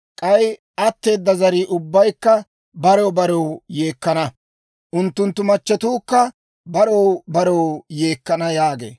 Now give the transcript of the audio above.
K'ay atteeda zarii ubbaykka barew barew yeekkana; unttunttu machchetuukka barew barew yeekkana» yaagee.